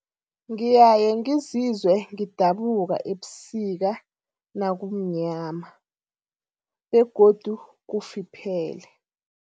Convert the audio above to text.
Ngiyaye ngizizwe ngidabuka ebusika nakumnyama begodu kufiphele.